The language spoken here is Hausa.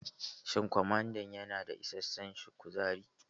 Shin kwamada ya na da isashen kuzari?